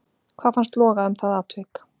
Hvað fannst loga um það atvik?